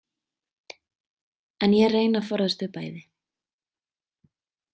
En ég reyni að forðast þau bæði.